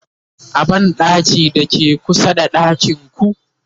a banɗakin da ke kusa da ɗakinku